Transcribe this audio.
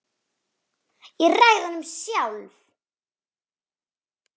Ég ræð honum sjálf.